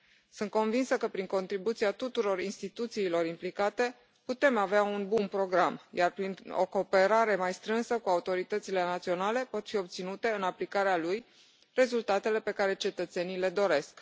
Sunt convinsă că, prin contribuția tuturor instituțiilor implicate, putem avea un bun program, iar, printr o cooperare mai strânsă cu autoritățile naționale, pot fi obținute în aplicarea lui rezultatele pe care cetățenii le doresc.